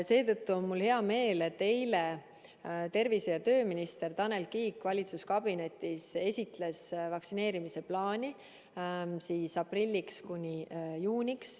Seetõttu on mul hea meel, et eile tervise- ja tööminister Tanel Kiik valitsuskabinetis esitles vaktsineerimise plaani kuni juunikuuni.